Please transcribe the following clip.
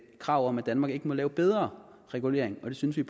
krav om at danmark ikke må lave bedre regulering og det synes vi